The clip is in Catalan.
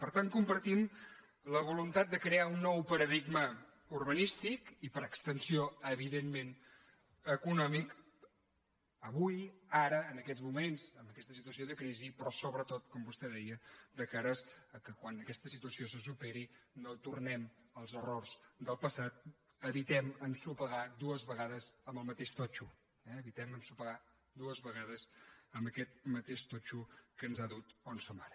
per tant compartim la voluntat de crear un nou pa·radigma urbanístic i per extensió evidentment eco·nòmic avui ara en aquests moments en aquesta si·tuació de crisi però sobretot com vostè deia de cara que quan aquesta situació se superi no tornem als er·rors del passat evitem ensopegar dues vegades amb el mateix totxo eh evitem ensopegar dues vegades amb aquest mateix totxo que ens ha dut on som ara